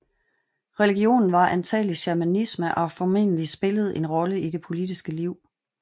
Religionen var antagelig shamanisme og har formodentlig spillet en rolle i det politiske liv